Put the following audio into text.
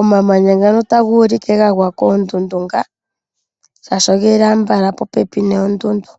omamanya ngano taga ulike gagwa koondundu nga shashi ogeli ambala popepi noondudu.